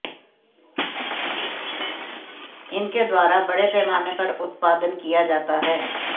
इनके द्वारा बड़े पैमाने पर उत्पादन किया जाता है